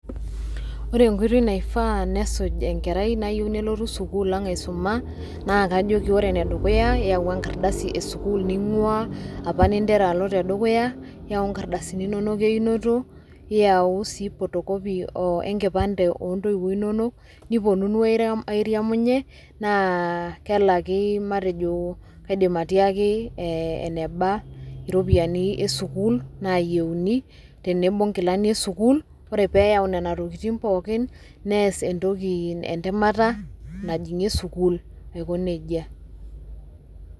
The right way for a child that wants to join our school to learn is first bring a transfer letter from the school they are coming from and their birth certificates and also parents Id photocopies and also accompany them and also tell them how much payment is required and also the school uniform and if they get all that then they can do an exam interview to join the school.